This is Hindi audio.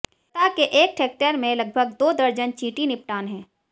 सतह के एक हेक्टेयर में लगभग दो दर्जन चींटी निपटान हैं